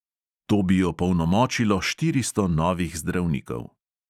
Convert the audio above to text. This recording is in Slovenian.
To bi opolnomočilo štiristo novih zdravnikov.